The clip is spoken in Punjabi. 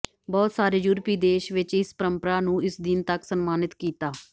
ਬਹੁਤ ਸਾਰੇ ਯੂਰਪੀ ਦੇਸ਼ ਵਿਚ ਇਸ ਪਰੰਪਰਾ ਨੂੰ ਇਸ ਦਿਨ ਤੱਕ ਸਨਮਾਨਿਤ ਕੀਤਾ